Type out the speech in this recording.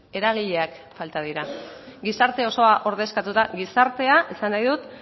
eragileak falta dira gizarte osoa ordezkatuta gizartea esan nahi dut